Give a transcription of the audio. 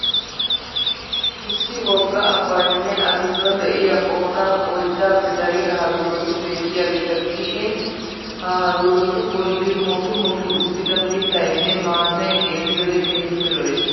Issi wogga abbaynne A giddon de'iya qoodan oyddaappe dariya haruurotti beettiyageta gidishshiin ha haruurottu bolli mokki mokki uttida mittaynne maatay xeelliyode keehiippe lo'ees.